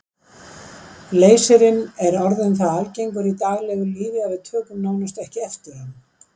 Leysirinn er orðinn það algengur í daglegu lífi að við tökum nánast ekki eftir honum.